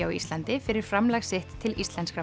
á Íslandi fyrir framlag sitt til íslenskra